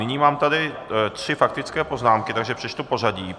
Nyní mám tady tři faktické poznámky, takže přečtu pořadí.